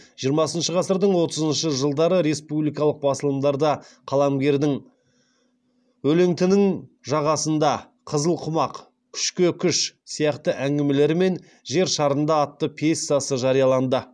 жиырмасыншы ғасырдың отызыншы жылдары республикалық басылымдарда қаламгердің өлеңтінің жағасында қызыл құмақ күшке күш сияқты әңгімелері мен жер шарында атты пьесасы жарияланды